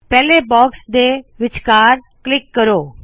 ਪਹਲੇ ਬਾਕਸ ਦੇ ਵਿਚਘਾਰ ਕਲਿੱਕ ਕਰੋ